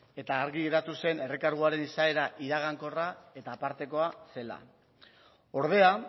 eta argi geratu zen errekarguaren izaera iragankorra eta apartekoa zela ordea